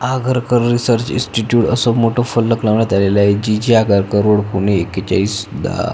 Agarkar research institute असं मोठं फलक लावण्यात आलेले आहे G G Agarkar road Pune एकेचाळीस दहा--